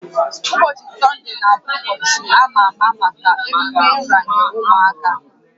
Ụbọchị Sọnde na-abụ ụbọchị a ma ama maka emume nranye ụmụaka